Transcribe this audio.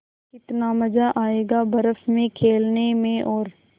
कितना मज़ा आयेगा बर्फ़ में खेलने में और